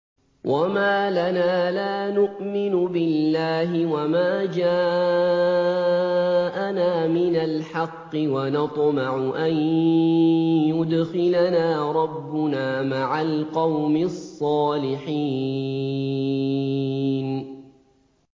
وَمَا لَنَا لَا نُؤْمِنُ بِاللَّهِ وَمَا جَاءَنَا مِنَ الْحَقِّ وَنَطْمَعُ أَن يُدْخِلَنَا رَبُّنَا مَعَ الْقَوْمِ الصَّالِحِينَ